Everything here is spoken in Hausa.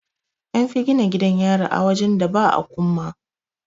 An fi gina gidan yari a wajen da ba akumma.